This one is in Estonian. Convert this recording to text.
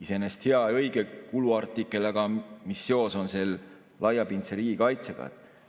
Iseenesest hea ja õige kuluartikkel, aga mis seos on sel laiapindse riigikaitsega?